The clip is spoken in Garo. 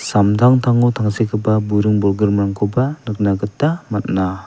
samtangtango tangsekgipa buring bolgrimrangkoba nikna gita man·a.